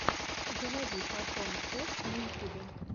заводи фотон кэт на ютьюбе